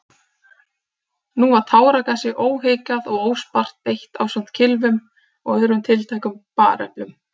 Nú var táragasi óhikað og óspart beitt ásamt kylfum og öðrum tiltækum bareflum.